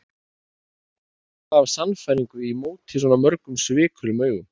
Hver gat talað af sannfæringu í móti svona mörgum svikulum augum?